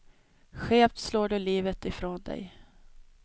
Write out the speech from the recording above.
Skevt slår du livet ifrån dig.